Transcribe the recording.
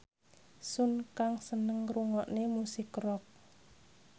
Sun Kang seneng ngrungokne musik rock